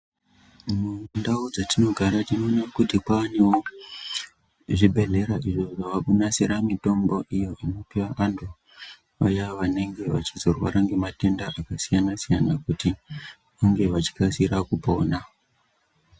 Mundau dzetinogara tinoona kuti kwaanewo, zvibhedhlera izvo zvaakunasira mitombo iyo inorapa vantu vaya vanenge vachizorwara ngematenda akasiyana-siyana , kuti vange vachikasira kupona.